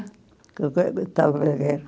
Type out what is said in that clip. estava a guerra?